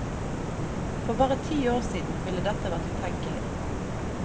For bare ti år siden ville dette vært utenkelig.